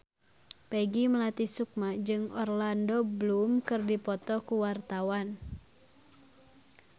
Peggy Melati Sukma jeung Orlando Bloom keur dipoto ku wartawan